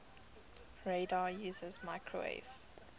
radar uses microwave